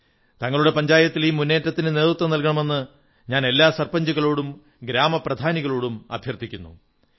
തങ്ങളുടെ പഞ്ചായത്തിൽ ഈ മുന്നേറ്റത്തിന് നേതൃത്വം നല്കണമെന്ന് ഞാൻ എല്ലാ സർപഞ്ചുകളോടും ഗ്രാമപ്രധാനികളോടും അഭ്യർഥിക്കുന്നു